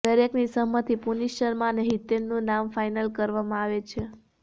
દરેકની સહમતિથી પુનીશ શર્મા અને હિતેનનું નામ ફાઇનલ કરવામાં આવે છે